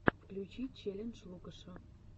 включи челлендж лукаша